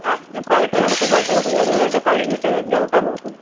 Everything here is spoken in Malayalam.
cycle എടുത്ത് cycle ന്റെ കേറിനിന്നിട്ട് കൈവിട്ട് ചവുട്ടാൻ നോക്കുന്ന്.